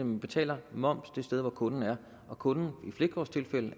man betaler moms det sted hvor kunden er og kunden